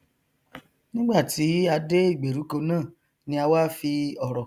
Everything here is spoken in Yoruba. nigbàtí a dé ìgbèríko náà ni a wá fi ọrọ